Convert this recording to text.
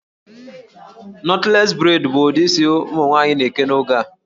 Knotless braid bụ ụdị isi ụmụ nwaanyị na-eke n'oge a